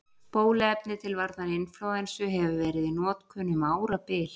Bóluefni til varnar inflúensu hefur verið í notkun um árabil.